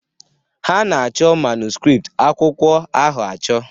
Ha na-achọ manuskript akwụkwọ ahụ achọ